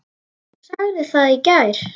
Þú sagðir það í gær.